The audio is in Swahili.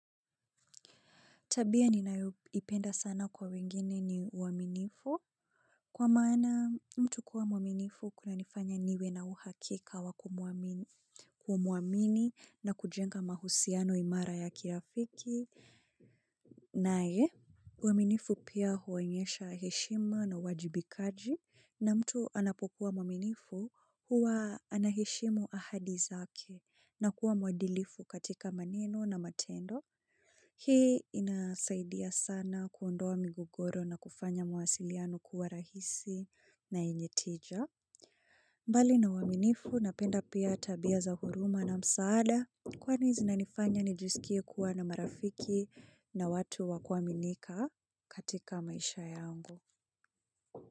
Tabia ninaoipenda sana kwa wengine ni uaminifu kwa maana mtu kuwa mwaminifu kuna nifanya niwe na uhakika wa kumuamini na kujenga mahusiano imara ya kirafiki na ye. Uaminifu pia huwonyesha heshima na wajibikaji na mtu anapokuwa mwaminifu huwa anaheshimu ahadi zake na kuwa mwadilifu katika maneno na matendo. Hii inasaidia sana kuondoa migogoro na kufanya mawasiliano kuwa rahisi na yenye tija. Mbali na waminifu na penda pia tabia za huruma na msaada. Kwani zinanifanya nijisikie kuwa na marafiki na watu wakuaminika katika maisha yangu.